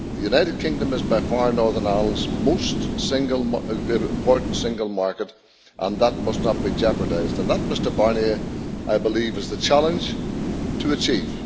The United Kingdom is by far Northern Ireland's most important single market, and that must not be jeopardised and that, Mr Barnier, I believe is the challenge we have to achieve.